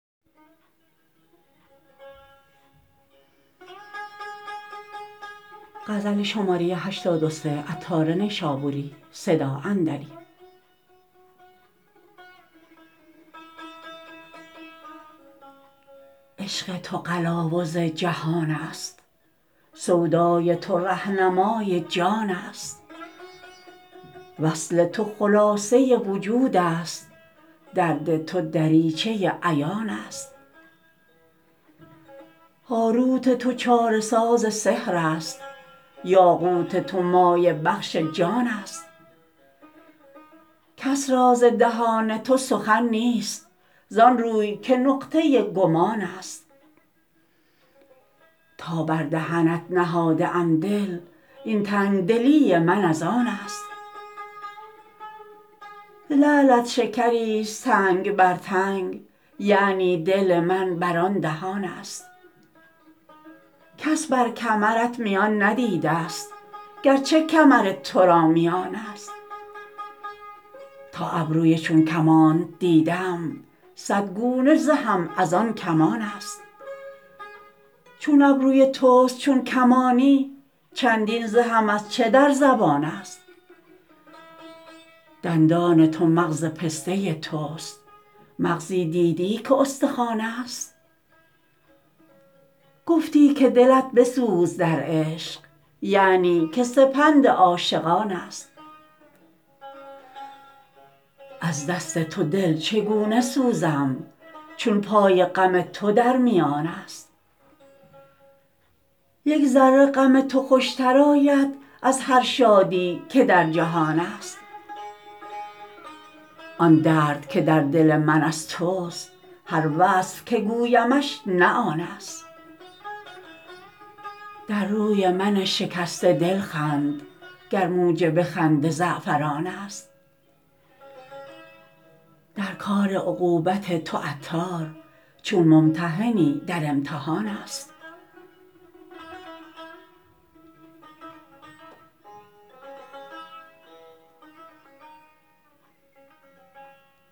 عشق تو قلاوز جهان است سودای تو رهنمای جان است وصل تو خلاصه وجود است درد تو دریچه عیان است هاروت تو چاره ساز سحر است یاقوت تو مایه بخش جان است کس را ز دهان تو سخن نیست زان روی که نقطه گمان است تا بر دهنت نهاده ام دل این تنگ دلی من از آن است لعلت شکری است تنگ بر تنگ یعنی دل من بر آن دهان است کس بر کمرت میان ندیدست گرچه کمر تو را میان است تا ابروی چون کمانت دیدم صد گونه زهم از آن کمان است چون ابروی توست چون کمانی چندین زهم از چه در زبان است دندان تو مغز پسته توست مغزی دیدی که استخوان است گفتی که دلت بسوز در عشق یعنی که سپند عاشقان است از دست تو دل چگونه سوزم چون پای غم تو در میان است یک ذره غم تو خوشتر آید از هر شادی که در جهان است آن درد که در دل من از توست هر وصف که گویمش نه آن است در روی من شکسته دل خند گر موجب خنده زعفران است در کار عقوبت تو عطار چون ممتحنی در امتحان است